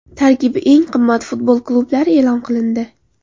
Tarkibi eng qimmat futbol klublari e’lon qilindi.